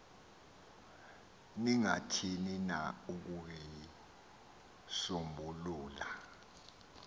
ningathini na ukuyisombulula